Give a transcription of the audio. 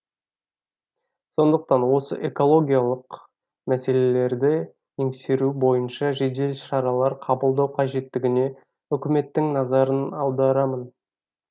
сондықтан осы экологиялық мәселелерді еңсеру бойынша жедел шаралар қабылдау қажеттігіне үкіметтің назарын аударамын